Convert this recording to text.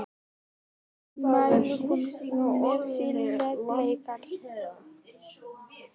Orð sín mælir hún með styrkleika.